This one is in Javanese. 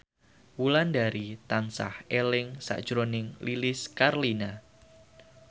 Wulandari tansah eling sakjroning Lilis Karlina